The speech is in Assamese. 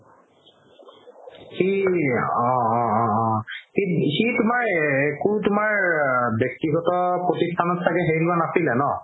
সি অ অ অ সি তুমাৰ ক'ৰ তুমাৰ ব্যাক্তিগত প্ৰতিষ্ঠানত চাগে হেৰি লোৱা নাছিলে ন